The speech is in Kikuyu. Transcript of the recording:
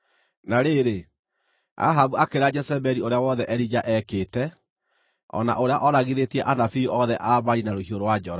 Na rĩrĩ, Ahabu akĩĩra Jezebeli ũrĩa wothe Elija eekĩte, o na ũrĩa ooragithĩtie anabii othe a Baali na rũhiũ rwa njora.